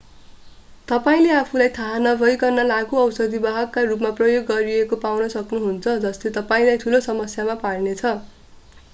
तपाईंले आफूलाई थाहा नभइकन लागू औषध वाहकको रूपमा प्रयोग गरिएको पाउन सक्नुहुन्छ जसले तपाईंलाई ठूलो समस्यामा पार्नेछ